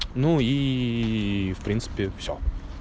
ну ии в принципе всё